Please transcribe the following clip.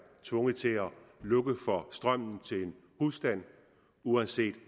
tvunget til at lukke for strømmen til en husstand uanset